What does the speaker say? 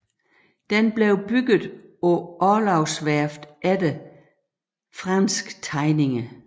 Den blev bygget på Orlogsværftet efter franske tegninger